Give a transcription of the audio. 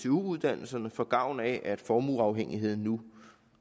uddannelserne får gavn af at formueafhængigheden nu